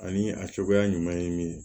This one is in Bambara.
Ani a cogoya ɲuman ye min ye